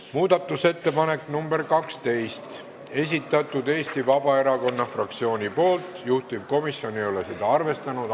Muudatusettepaneku nr 12 on esitanud Eesti Vabaerakonna fraktsioon, juhtivkomisjon ei ole seda arvestanud.